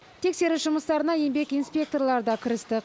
тексеріс жұмыстарына еңбек инспекторлары да кірісті